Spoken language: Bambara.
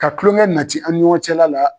Ka tulonŋɛ nati an ni ɲɔgɔn cɛla la